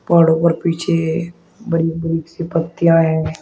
पहाड़ों पर पीछे बड़ी बड़ी सी पत्तियां है।